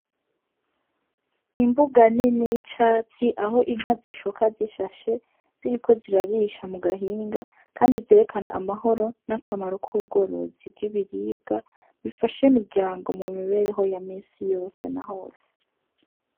Imbuga nini y'icatsi aho inka zishoka zishashe ziriko zirarisha mu gahinga, kandi vyerekana amahoro n'akamaro k' ubworozi bw'ibiribwa bifasha imiryango mu mibereho ya misi yose na hose.